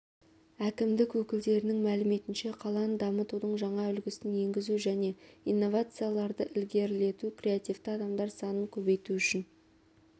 әкімдік өкілдерінің мәліметінше қаланы дамытудың жаңа үлгісін енгізу және инновацияларды ілгерілету креативті адамдар санын көбейту үшін